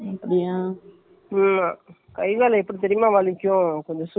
ம்ம்.நேத்து night correct ஆ ஒரு ஆர் எழுப்பும் போது தூங்குன்னா.